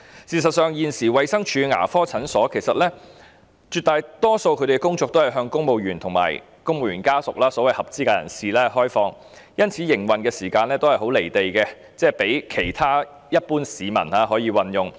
事實上，現時衞生署牙科診所絕大多數的工作均是向公務員和公務員家屬這些所謂合資格人士提供服務，因此，營運時間都較為"離地"，其他一般市民難以使用。